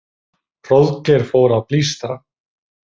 Hróðgeir fór að blístra.